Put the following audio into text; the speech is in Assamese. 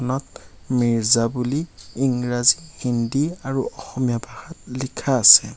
মিৰ্জা বুলি ইংৰাজী হিন্দী আৰু অসমীয়া ভাষাত লিখা আছে।